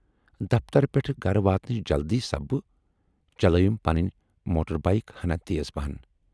دفترٕ پٮ۪ٹھٕ گرٕ واتنٕچ جلدی سببہٕ چلٲوٕم پنٕنۍ موٹر بایِک ہنا تیز پہن۔